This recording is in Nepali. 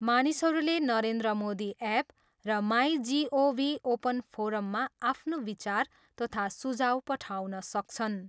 मानिसहरूले नरेन्द्र मोदी ऐप र माई जिओभी ओपन फोरममा आफ्नो विचार तथा सुझाउ पठाउन सक्छन्।